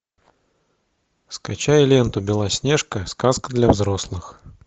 скачай ленту белоснежка сказка для взрослых